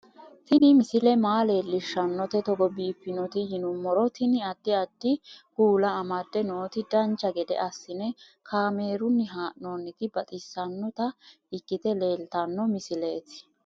Tini misile maa leellishshannote togo biiffinoti yinummoro tini. addi addi kuula amadde nooti dancha gede assine kaamerunni haa'noonniti baxissannota ikkite leeltanno misileeti